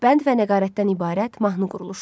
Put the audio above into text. Bənd və nəqarətdən ibarət mahnı quruluşu.